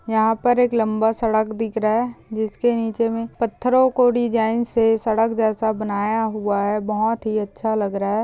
यहा पर एक लंबा सड़क दिख रहा है जिसके नीचे में पत्थरों कों डिजाइन से सड़क जैसा बनाया हुआ है बहुत ही अच्छा लग रहा हैं।